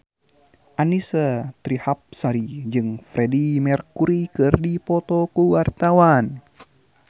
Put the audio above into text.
Annisa Trihapsari jeung Freedie Mercury keur dipoto ku wartawan